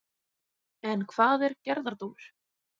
En hvað er gerðardómur?